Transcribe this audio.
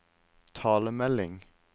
talemelding